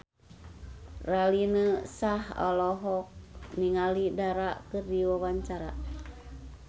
Raline Shah olohok ningali Dara keur diwawancara